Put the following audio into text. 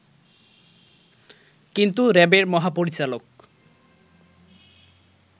কিন্তু র‍্যাবের মহাপরিচালক